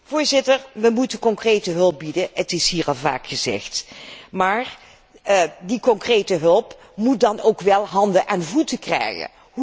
Voorzitter, wij moeten concrete hulp bieden het is hier al vaak gezegd maar die concrete hulp moet dan ook wel handen en voeten krijgen.